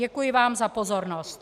Děkuji vám za pozornost.